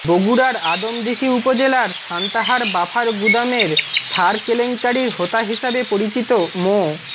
বগুড়ার আদমদীঘি উপজেলার সান্তাহার বাফার গুদামের সার কেলেঙ্কারির হোতা হিসেবে পরিচিত মো